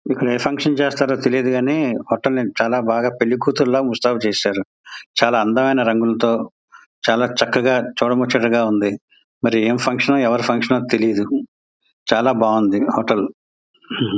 ఇక్కడ ఏ ఫంక్షన్ చేస్తారో తెలీదు కానీ ని చలా బాగా పెళ్ళి కూతుర్ల ముస్తాబు చేసారు చాలా అందమైన రంగులతో చాలా చక్కగా చూడ ముచ్చటగా ఉంది. మరి ఎం ఫంక్షన్ ఓ ఎవరి ఫంక్షన్ ఓ తెలీదు చాలా బాగుంది హోటల్ .